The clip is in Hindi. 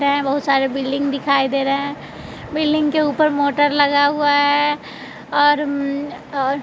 ये बहुत सारे बिल्डिंग दिखाई दे रहे है बिल्डिंग के ऊपर मोटर लगा हुआ है और और--